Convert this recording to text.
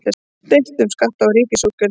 Deilt um skatta og ríkisútgjöld